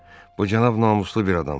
Bu cənab namuslu bir adamdır.